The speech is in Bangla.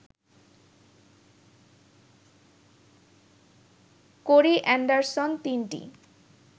কোরি অ্যান্ডারসন তিনটি